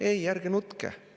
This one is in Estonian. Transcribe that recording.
Ei, ärge nutke!